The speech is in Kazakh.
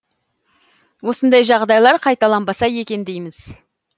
осындай жағдайлар қайталанбаса екен дейміз